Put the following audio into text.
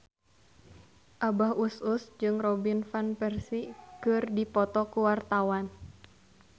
Abah Us Us jeung Robin Van Persie keur dipoto ku wartawan